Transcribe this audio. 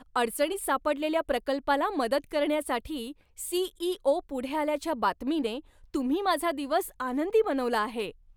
अडचणीत सापडलेल्या प्रकल्पाला मदत करण्यासाठी सी.ई.ओ. पुढे आल्याच्या बातमीने तुम्ही माझा दिवस आनंदी बनवला आहे!